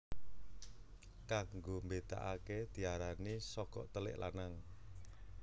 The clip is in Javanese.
Kanggo mbedakake diarani sogok telik lanang